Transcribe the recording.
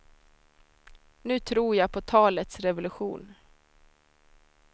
Nu tror jag på talets revolution.